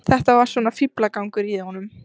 Þetta var svona fíflagangur í honum.